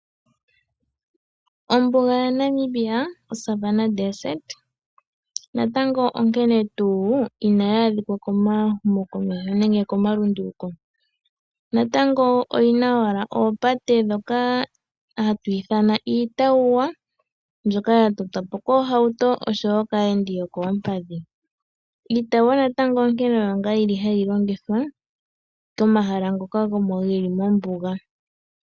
Ombuga yaNamibia oSavanna Desert natango onkene tuu inayi adhika komahumokomeho nenge komalunduluko, natango oyi na owala oopate ndhoka hatu ithana iitawuwa mbyoka ya totwa po kiihauto oshowo kaayendi yokoompadhi. Iitawuwa natango onkene oyo ngaa yili hayi longithwa komahala ngoka geli mombuga.